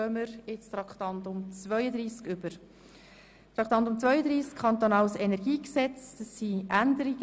Wir kommen zu Traktandum 32, zur Änderung des Kantonalen Energiegesetzes (KEnG).